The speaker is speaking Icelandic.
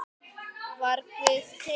Var Guð til?